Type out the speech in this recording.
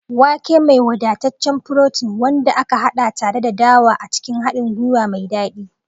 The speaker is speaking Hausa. Wake, mai wadataccen furotin, wanda aka haɗa tare da dawa a cikin haɗin gwiwa mai daɗi.